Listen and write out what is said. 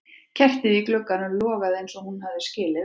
Kertið í glugganum logaði eins og hún hafði skilið við það.